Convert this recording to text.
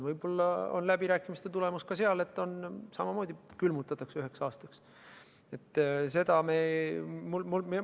Võib-olla on läbirääkimiste tulemus ka see, et seal samamoodi otsustatakse palk üheks aastaks külmutada.